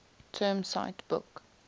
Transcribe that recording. term cite book